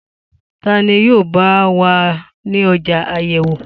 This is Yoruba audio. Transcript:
Ta ni yóò bá o wá ní ọjọ́ àyẹ̀wò